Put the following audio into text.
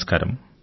నమస్కారం